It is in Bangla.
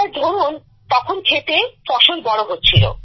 স্যার ধরুন তখন ক্ষেতে ফসল বড় হচ্ছিল